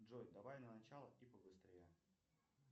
джой давай на начало и побыстрее